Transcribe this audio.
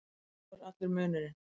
Sá er allur munurinn.